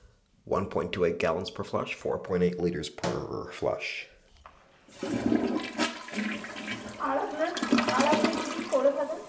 আর আপনার, আর আপনি কি কি করে থাকেন?